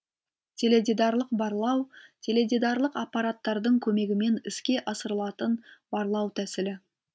теледидарлық барлау теледидарлық аппараттардың көмегімен іске асырылатын барлау тәсілі